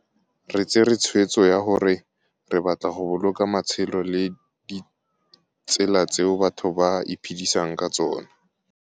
Re tsere tshweetso ya gore re batla go boloka matshelo le ditselatseo batho ba iphedisang ka tsona.